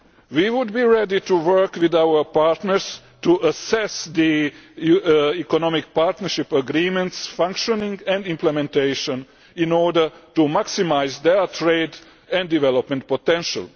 We would be ready to work with our partners to assess the Economic Partnership Agreements' functioning and implementation in order to maximise their trade and development potential.